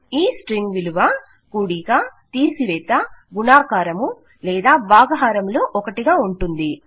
ఈ స్ట్రింగ్ విలువ కూడిక తీసివేత గుణకారము లేదాభాగహారము లో ఒకటిగా ఉంటుంది